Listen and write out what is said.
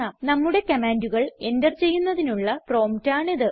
നമ്മുടെ കമാൻഡുകൾ എന്റർ ചെയ്യുന്നതിനുള്ള പ്രോംപ്റ്റ് ആണിത്